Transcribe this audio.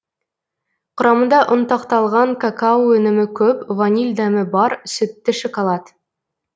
құрамында ұнтақталған какао өнімі көп ваниль дәмі бар сүтті шоколад